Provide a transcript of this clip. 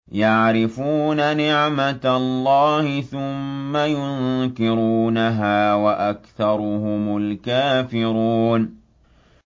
يَعْرِفُونَ نِعْمَتَ اللَّهِ ثُمَّ يُنكِرُونَهَا وَأَكْثَرُهُمُ الْكَافِرُونَ